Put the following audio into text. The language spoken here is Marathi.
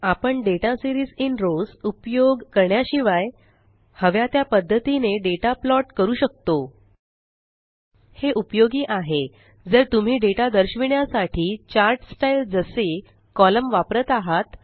आपण दाता सीरीज इन रॉव्स उपयोग करण्याशिवाय हव्या त्या पद्धतीने डेटा प्लॉट करू शकतो हे उपयोगी आहे जर तुम्ही डेटा दर्शविण्यासाठी चार्ट स्टाइल जसे कोलम्न वापरत आहात